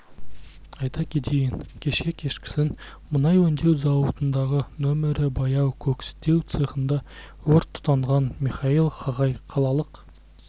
айта кетейін кеше кешкісін мұнай өңдеу зауытындағы нөмірі баяу кокстеу цехында өрт тұтанған михаил хагай қалалық